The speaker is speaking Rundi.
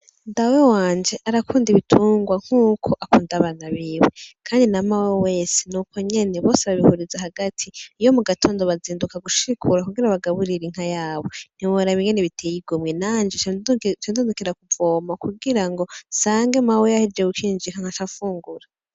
Dawe wanje arakunda ibitungwa nkuko akunda abana biwe Kandi na mawe wese Nuko nyene Kandi babihuriza hagati iyo mugatondo bazinduka gushikura kugira bagaburire Inka yabo ntiworaba Ingene biteye igomwe nanje nca nzindukira kuvoma kugira mawe nsange yahejeje gukinjika nkaca mfungura .